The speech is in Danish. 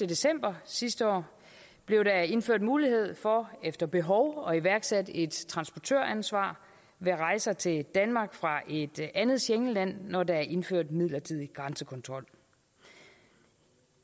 december sidste år blev der indført mulighed for efter behov at iværksætte et transportøransvar ved rejser til danmark fra et andet schengenland når der er indført midlertidig grænsekontrol